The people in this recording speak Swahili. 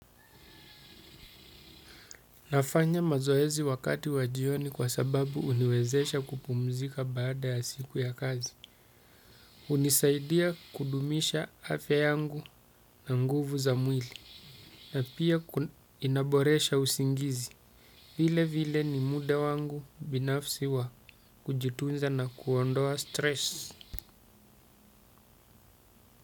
Nafanya mazoezi wakati wa jioni kwa sababu uniwezesha kupumzika baada ya siku ya kazi unisaidia kudumisha afya yangu na nguvu za mwili na pia inaboresha usingizi vilevile ni muda wangu binafsi wa kujitunza na kuondoa stress.